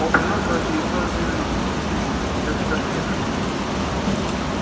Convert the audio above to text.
он принёс его через сорок две минуты и три секунды я засёк время